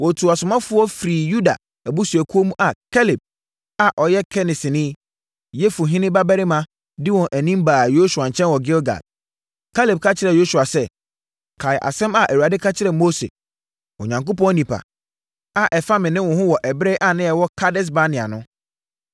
Wɔtuu asomafoɔ firi Yuda abusuakuo mu a Kaleb a ɔyɛ Kenesini, Yefune babarima di wɔn anim baa Yosua nkyɛn wɔ Gilgal. Kaleb ka kyerɛɛ Yosua sɛ, “Kae asɛm a Awurade ka kyerɛɛ Mose, Onyankopɔn onipa, a ɛfa me ne wo ho wɔ ɛberɛ a na yɛwɔ Kades-Barnea no.